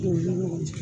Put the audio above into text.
K'o la ɲɔgɔn cɛ